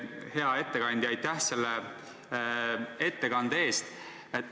Hea ettekandja, aitäh selle ettekande eest!